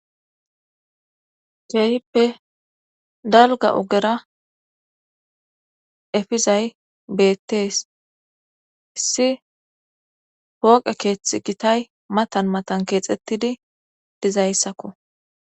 Keehippe dalga ogera efizay beettees issi pooqe keeththi gitay matan matan keexxettidi dizayssakko.